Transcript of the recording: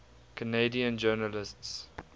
canadian journalists